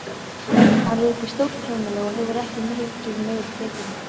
Hann rekur stórt heimili og hefur ekki mikið meiri tekjur en ég.